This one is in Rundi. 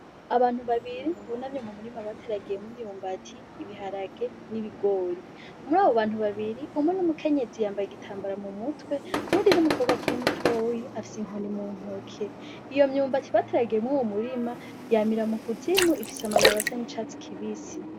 Abantu babiri bunamye mu murima bateragiyemw'imyumbati, ibiharage ,n'ibigori . Mwabo bantu babiri umwe n'umukenyezi yambay'igitambara mu mutwe, uwundi n'umukobwa akiri mutoya afis'inkoni mu ntoke . Iyo myumbati bateragiyemwo mu murima yamira mu kuzimu ,ifis'amababi asa n'icatsi kibisi.